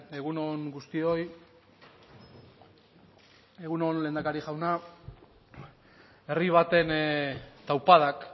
egun on guztioi egun on lehendakari jauna herri baten taupadak